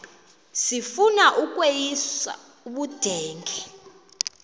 sifuna ukweyis ubudenge